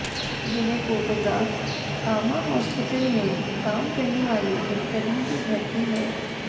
यह photograph Kama hospital में काम करने वाले एक कर्मी के घर की है